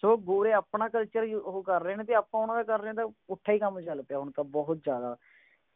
ਸੋ ਗੋਰੇ ਆਪਣਾ culture ਹੀ ਓਹੋ ਕਰ ਰਹੇ ਨੇ ਤੇ ਆਪਾਂ ਉਨ੍ਹਾਂ ਦਾ ਕਰ ਰਹੇ ਆ ਤਾਂ ਪੁੱਠਾ ਹੀ ਕੰਮ ਚੱਲ ਪਿਆ ਹੁਣ ਤੇ ਬਹੁਤ ਜ਼ਿਆਦਾ